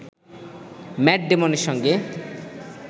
mat ডেমনের সঙ্গে